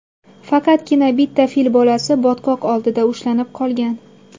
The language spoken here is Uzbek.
Faqatgina bitta fil bolasi botqoq oldida ushlanib qolgan.